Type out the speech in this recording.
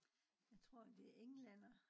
Jeg tror det er englændere